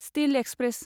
steel express